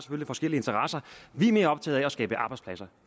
forskellige interesser vi er mere optaget af at skabe arbejdspladser